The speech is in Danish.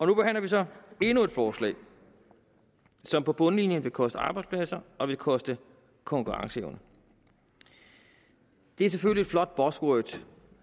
nu behandler vi så endnu et forslag som på bundlinjen vil koste arbejdspladser og vil koste konkurrenceevne det er selvfølgelig et flot buzzword